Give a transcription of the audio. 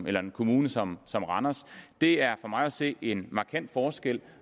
en kommune som som randers det er for mig at se en markant forskel